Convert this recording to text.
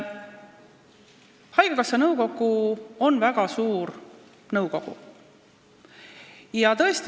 Haigekassa nõukogu on väga suur nõukogu.